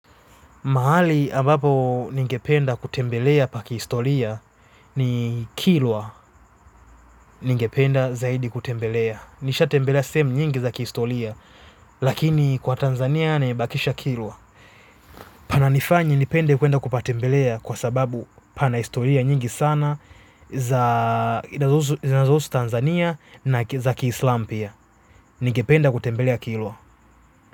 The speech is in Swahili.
Mahali ambapo ningependa kutembelea pa kihistoria ni kilwa ningependa zaidi kutembelea. Nishatembelea sehemu nyingi za kihistoria, lakini kwa Tanzania nimebakisha kilwa. Pananifanya nipende kwenda kupatembelea kwa sababu pana historia nyingi sana za zinazohusu Tanzania na za kiislamu pia. Ningependa kutembelea kilwa.